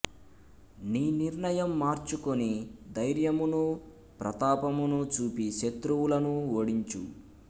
నీ నిర్ణయం మార్చుకుని ధైర్యమును ప్రతాపమును చూపి శత్రువులను ఓడించు